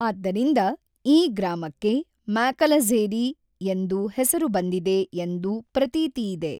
ಆದ್ದರಿಂದ ಈ ಗ್ರಾಮಕ್ಕೆ ಮ್ಯಾಕಲಝೇರಿ ಎಂದು ಹೆಸರು ಬಂದಿದೆ ಎಂದು ಪ್ರತೀತಿ ಇದೆ.